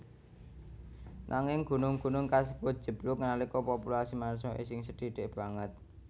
Nanging gunung gunung kasebut njeblug nalika populasi manungsa isih sethithik banget